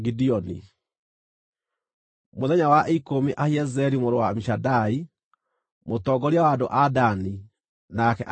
Mũthenya wa ikũmi Ahiezeri mũrũ wa Amishadai, mũtongoria wa andũ a Dani, nake akĩrehe maruta make.